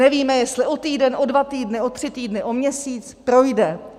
Nevíme, jestli o týden, o dva týdny, o tři týdny, o měsíc. Projde.